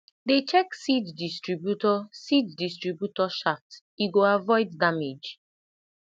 dey check seed distributor seed distributor shaft e go avoid damage